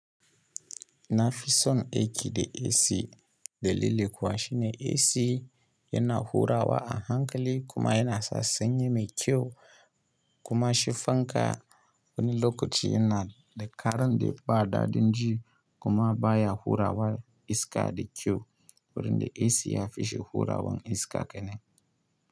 Na fi son aiki da AC dalili kuwa shine AC yana hurawa a hankali kuma yana sa sanye mai kyau kuma shi fanka wani lokaci yana da karan da ba daɗin ji kuma ba ya hurawa iska da kyau wurin da AC ya fi shi hurawan iska kenan.